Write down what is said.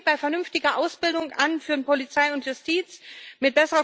Das fängt bei vernünftiger Ausbildung für Polizei und Justiz an.